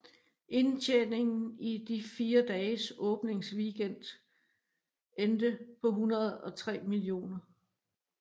Indtjeningen i de fire dages åbningsweekend endte på 103 mio